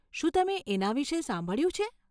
શું તમે એના વિષે સાંભળ્યું છે?